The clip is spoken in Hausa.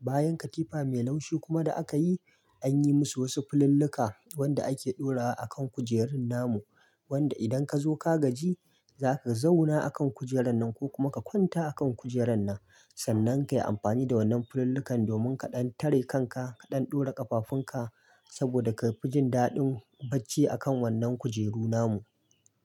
Bayan katifa mai laushi kuma da aka yi, an yi musu wasu filulluka wanda ake ɗorawa akan kujerun namu. Wanda idan ka zo ka gaji, za ka zauna akan kujerar nan ko kuma ka kwanta a kan kujerar nan. Sannan ka yi amfani da wannan fili'ullukan domin ka ɗan tare kanka, ka ɗan ɗora ƙafafunka saboda ka fi jin daɗin bacci a kan wannan kujeru namu.